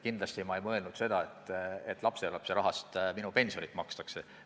Kindlasti ma ei mõelnud seda, et lapselapsele minu pensionirahast makstakse.